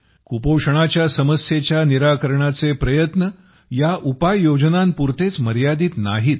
कुपोषणाच्या समस्येच्या निराकरणाचे प्रयत्न या उपाययोजनांपुरतेच मर्यादित नाहीत